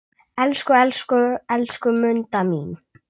Elsku, elsku, elsku Munda mín.